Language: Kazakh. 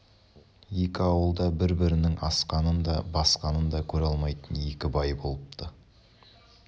екі ауылда бір-бірінің асқанын да басқанын да көре алмайтын екі бай болыпты